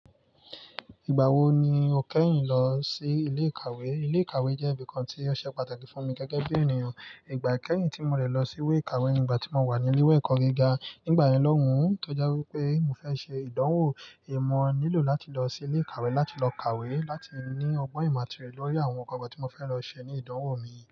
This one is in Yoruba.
Ìgbà wo ni o kẹ́yìn lọ sí ilé ìkàwé? Ilé ìkàwé jẹ́ ibìkan tí ó ṣe pàtàkì fún mi gẹ́gẹ́ bí ènìyàn. Ìgbà kẹ́yìn tí mo rẹ̀ lọ sí ilé ìkàwé ni ìgbà tí mo wà ní ilé ẹ̀kọ́ gíga. Nígbà yen náà lóhùn tó je wipé mo fẹ́ ṣe ìdánwò, èmo nílò láti lọ sí ilé ìkàwé láti lọ kàwé láti ní ọgbọ́n ìmo ati oyẹ̀ lórí àwọn nǹkan tí mo fẹ́ lọ ṣe ní ìdánwò mi.